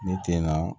Ne tɛna